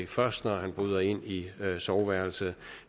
først når han bryder ind i soveværelset